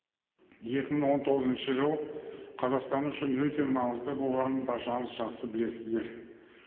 екі мың он тоғызыншы жыл қазақстан үшін өте маңызды болғанын баршаңыз жақсы білесіздер